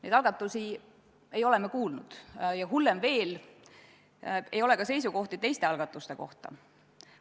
Neist algatustest ei ole me kuulnud, hullem veel, meil ei ole ka seisukohti teiste algatuste kohta.